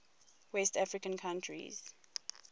west african countries